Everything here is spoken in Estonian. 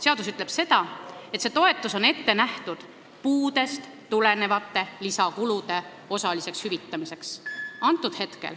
Seadus ütleb seda, et see toetus on ette nähtud puudest tulenevate lisakulude osaliseks hüvitamiseks.